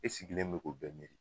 E sigilen be k'o bɛɛ miiri.